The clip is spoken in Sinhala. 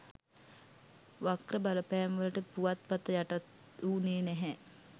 වක්‍ර බලපැම්වලට පුවත්පත යටත් වුනේ නැහැ.